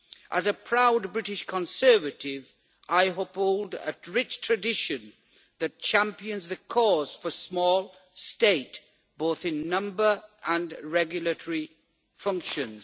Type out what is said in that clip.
As a proud British Conservative, I uphold a rich tradition that champions the cause for the small state, both in number and regulatory functions.